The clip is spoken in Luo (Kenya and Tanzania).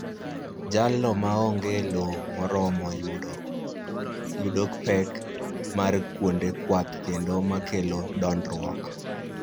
Jalno ma onge lo moromo yudo pek mar kuonde kwath kendo ma kelo dondruok